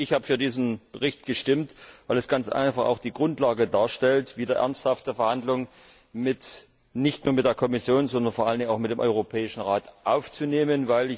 Ich habe für diesen Bericht gestimmt, weil er ganz einfach auch die Grundlage darstellt, wieder ernsthafte Verhandlungen nicht nur mit der Kommission, sondern vor allen Dingen auch mit dem Europäischen Rat aufzunehmen.